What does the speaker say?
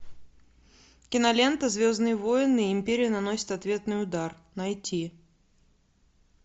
кинолента звездные войны империя наносит ответный удар найти